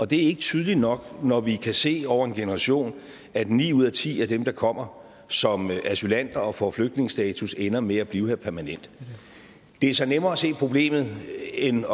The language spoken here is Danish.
det ikke tydeligt nok når vi kan se over en generation at ni ud af ti af dem der kommer som asylanter og får flygtningestatus ender med at blive her permanent det er så nemmere at se problemet end